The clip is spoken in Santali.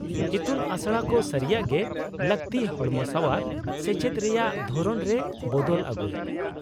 -ᱤᱛᱩᱱ ᱟᱥᱲᱟ ᱠᱚ ᱥᱟᱹᱨᱤᱭᱟᱜ ᱜᱮ ᱞᱟᱹᱠᱛᱤ ᱦᱚᱲᱢᱚᱥᱟᱶᱟᱨ ᱥᱮᱪᱮᱫ ᱨᱮᱭᱟᱜ ᱫᱷᱚᱨᱚᱱ ᱨᱮ ᱵᱚᱫᱚᱞ ᱟᱹᱜᱩᱭ ᱾